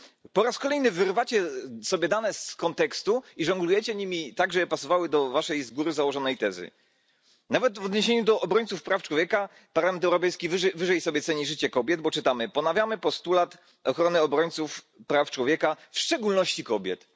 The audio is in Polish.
Po raz kolejny wyrywacie sobie dane z kontekstu i żonglujecie nimi tak, żeby pasowały do waszej z góry założonej tezy nawet w odniesieniu do obrońców praw człowieka Parlament Europejski wyżej sobie ceni życie kobiet, bo czytamy ponawia postulat ochrony obrońców praw człowieka w szczególności kobiet.